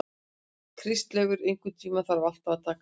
Kristleifur, einhvern tímann þarf allt að taka enda.